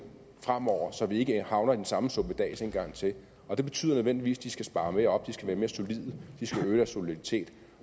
fremover så vi ikke havner i den samme suppedas en gang til det betyder nødvendigvis at de skal spare mere op de skal være mere solide de skal øge deres soliditet